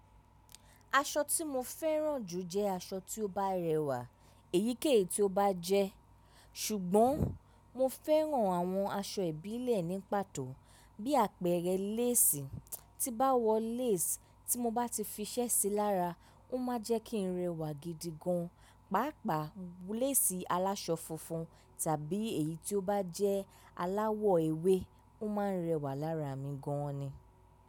Aṣọ tí mo fẹ́ràn jù jẹ́ aṣọ tí ó bá rẹwà, èyíkéyìí tí ó bá jẹ́. Ṣùgbọ́n mo fẹ́ràn àwọn aṣọ ìbílẹ̀ ní pàtó bí àpẹẹrẹ lace. Tí n bá wọ lace tí mo bá ti fi iṣẹ́ sí lára, ó máa n jẹ́ kí n rẹwà gidi gan. Páápàá lace aláṣọ funfun tàbí èyí tí ó bá jẹ́ aláwọ̀ ewé, ó máa ń rẹwà lára mi gan ni.